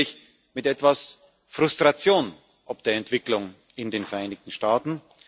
Zunächst natürlich mit etwas Frustration ob der Entwicklung in den Vereinigten Staaten.